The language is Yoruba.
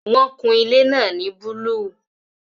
Wọn kun ilé náà ní búlúù